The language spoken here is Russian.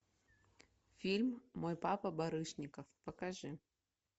фильм мой папа барышников покажи